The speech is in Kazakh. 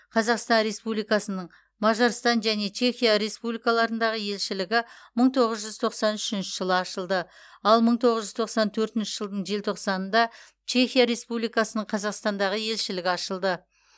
қазақстан республикасының мажарстан және чехия республикаларындағы елшілігі мың тоғыз жүз тоқсан үшінші жылы ашылды ал мың тоғыз жүз тоқсан төртінші жылдың желтоқсанында чехия республикасының қазақстандағы елшілігі ашылды